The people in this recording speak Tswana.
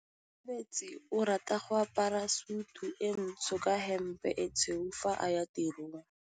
Onkabetse o rata go apara sutu e ntsho ka hempe e tshweu fa a ya tirong.